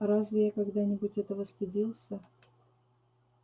а разве я когда-нибудь этого стыдился